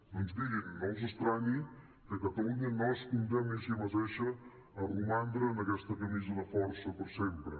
doncs mirin no els estranyi que catalunya no es condemni a si mateixa a romandre en aquesta camisa de força per sempre